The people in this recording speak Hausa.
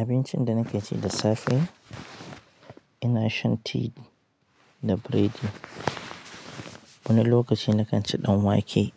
Abincin da na ke ci da safe ina shan tea da biredi. Wani lokaci na kan ci danwake,